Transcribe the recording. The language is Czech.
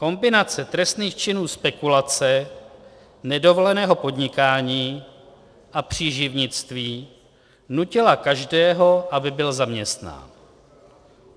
Kombinace trestných činů spekulace, nedovoleného podnikání a příživnictví nutila každého, aby byl zaměstnán.